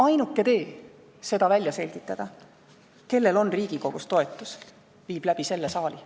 Ainuke tee välja selgitada, kellel on Riigikogus toetus, viib läbi selle saali.